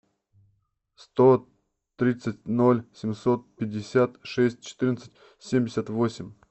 сто тридцать ноль семьсот пятьдесят шесть четырнадцать семьдесят восемь